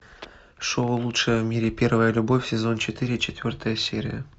шоу лучшая в мире первая любовь сезон четыре четвертая серия